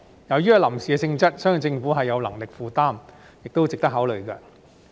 由於屬臨時性質，相信政府有能力負擔，亦是值得考慮的。